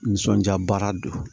Nisɔndiya baara don